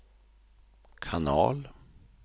kanal